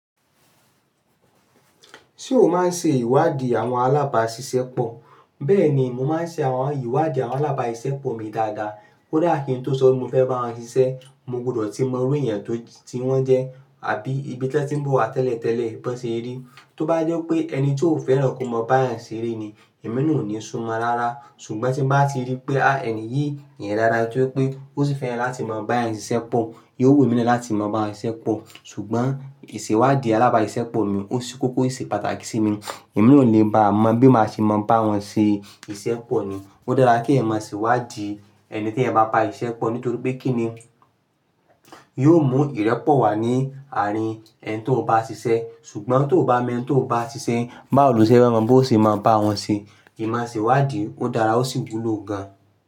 Ṣé o máa ń ṣe ìwádìí àwọn alábàáṣiṣẹ́pọ̀? Bẹ́ẹ̀ni, mo máa ń ṣe àwọn ìwádìí àwọn alábáàṣiṣẹ́ pọ̀ mi dáadáa. Kódà kí n tó sọ pé mo fẹ́ báwọn sisẹ́ mo gbọdọ̀ ti mọ irú èyàn tí wọ́n jẹ́ àbí ibi tí wọ́n tí n bọ̀ wá tẹ́lẹ̀ tẹ́lẹ̀ bí wọ́n ṣe rí. Tó bá jẹ́ pé ẹni tí o fẹ́ràn kó mọ bá èyàn ṣeré ni, ẹ̀mí náà ò ní súmọ́ ọ rárá. Ṣùgbọ́n tí n bá ti rí pé ẹni yìí èyàn dáadáa tó jẹ́ pé ó sì fẹ́ràn láti má bá èyàn ṣiṣẹ́ pọ̀, yóò wù èmi náà láti máa bá ṣiṣẹ́ pọ̀. Ṣùgbọ́n ìṣèwádìí alábáàṣiṣẹ́pọ̀ mi ó ṣe kókó ó ṣe pàtàkì sí mi. Èmi náà ó le baà mọ bí màá ṣe má báwọn ṣe iṣẹ́ pọ̀ ni. Ó dára kí èyàn mọ ìṣèwádìí ẹni tí ẹ bá n ba siṣẹ́ pọ̀ nítorí pé kí ni yóò mú ìrẹ́pọ̀ wá ní àárín ẹni tó n bá ṣiṣẹ́. Sùgbọ́n tó ò bá mọ eni tó n bá ṣiṣẹ́ báwo ni o ṣe fẹ́ mọ bó ṣe ma báwọn ṣe ìma ṣèwádìí ó dára ó sì wúlò gan.